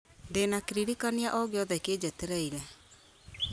ndĩna kĩririkania o gĩothe kĩnjetereire